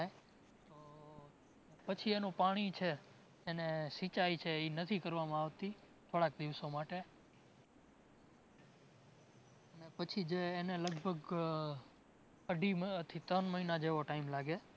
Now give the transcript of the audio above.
પછી એનું પાણી છે, એને સિચાઈ છે ઇ નથી કરવામાં આવતી, થોડાક દિવસો માટે. ને પછી જે એને લગભગ અઢી મ થી ત્રણ મહિના જેવો time લાગે